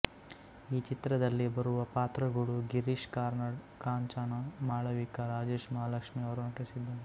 ಈ ಚಿತ್ರದಲ್ಲಿ ಬರುವ ಪಾತ್ರಗಳು ಗಿರೀಶ್ ಕಾರ್ನಾಡ್ ಕಾಂಚನ ಮಾಳವಿಕ ರಾಜೇಶ್ ಮಹಾಲಕ್ಷ್ಮಿ ಅವರು ನಟಿಸಿದ್ದಾರೆ